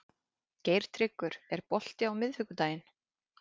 Geirtryggur, er bolti á miðvikudaginn?